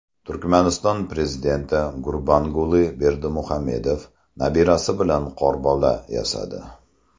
Turkmaniston prezidenti Gurbanguli Berdimuhamedov nabirasi bilan qorbola yasadi .